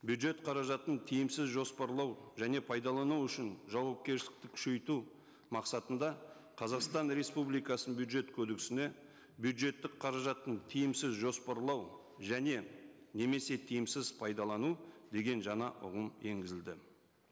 бюджет қаражатын тиімсіз жоспарлау және пайдалану үшін жауапкершілікті күшейту мақсатында қазақстан республикасының бюджет кодексіне бюджеттік қаражатың тиімсіз жоспарлау және немесе тиімсіз пайдалану деген жаңа ұғым енгізілді